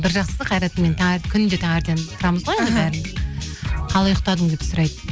бір жақсысы қайрат мені күнде таңертең тұрамыз ғой енді бәріміз қалай ұйықтадың деп сұрайды